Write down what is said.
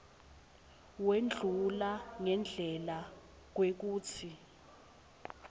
wendlula ngendlela kwekutsi